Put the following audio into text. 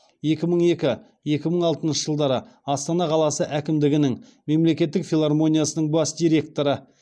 екі мың екі екі мың алтыншы жылдары астана қаласы әкімдігінің мемлекеттік филармониясының бас директоры